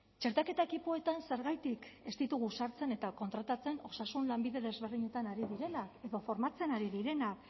txertaketa ekipoetan zergatik ez ditugu sartzen eta kontratatzen osasun lanbide desberdinetan ari direnak edo formatzen ari direnak